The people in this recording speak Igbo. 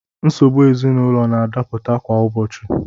Nsogbu ezinaụlọ na-adapụta kwa ụbọchị.